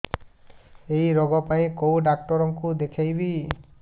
ଏଇ ରୋଗ ପାଇଁ କଉ ଡ଼ାକ୍ତର ଙ୍କୁ ଦେଖେଇବି